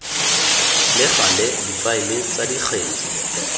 le gale difaele tsa dikgetse